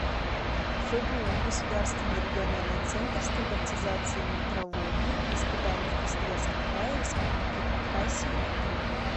фбу государственный региональный центр стандартизации метрологии и испытаний в красноярском крае республике хакасия и тыва